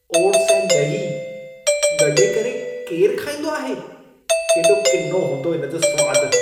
Oats ऐं ॾही गॾे करे केर खाईंदो आहे? केॾो किनो हूंदो इन जो स्वाद।